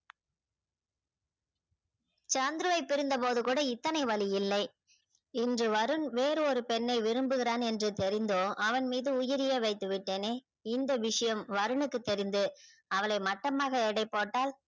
சந்துருவை பிரிந்த போது கூட இந்தன வலி இல்ல இன்று வருண் வேறு ஒரு பெண்ணை விரும்பிகிறான் என்று தெரிந்தும் அவன் மீது உயிரையே வைத்து விட்டனே இந்த விஷயம் வருணுக்கு தெரிந்து அவளை மட்டமாக எடை போட்டால்